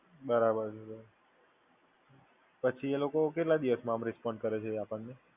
બરાબર છે. પછી એ લોકો આપણને કેટલા દિવસમાં રિસપોન્ડ કરે છે?